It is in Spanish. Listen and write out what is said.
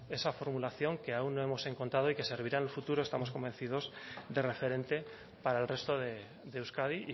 esa formulación que aún no hemos encontrado y que servirá en el futuro estamos convencidos de referente para el resto de euskadi y